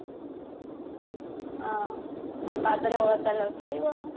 ହଁ ଆଉ ପାଦରେ ଅଳତା ଲଗେଇବ